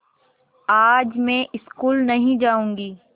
आज मैं स्कूल नहीं जाऊँगी